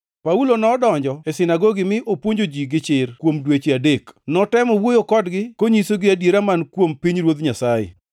Paulo nodonjo e sinagogi mi opuonjo ji gi chir kuom dweche adek. Notemo wuoyo kodgi konyisogi adiera man kuom pinyruodh Nyasaye.